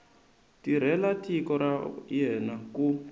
tirhela tiko ra yena ku